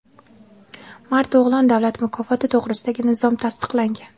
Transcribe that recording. "Mard o‘g‘lon" davlat mukofoti to‘g‘risidagi nizom tasdiqlangan.